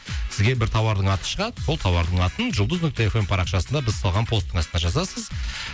сізге бір тауардың аты шығады сол тауардың атын жұлдыз нүкте эф эм парақшасында біз салған посттың астына жазасыз